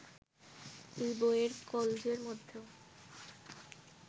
এই বইয়ের কলজের মধ্যেও